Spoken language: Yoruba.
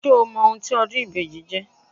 Ṣé o mọ ohun tí ọdún ìbejì jẹ́?